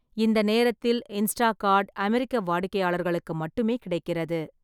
இந்த நேரத்தில், இன்ஸ்டாகார்ட் அமெரிக்க வாடிக்கையாளர்களுக்கு மட்டுமே கிடைக்கிறது.